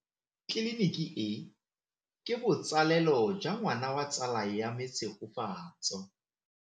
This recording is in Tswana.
Tleliniki e, ke botsalelo jwa ngwana wa tsala ya me Tshegofatso.